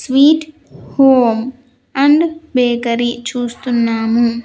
Sweet home and bakery చూస్తున్నాము.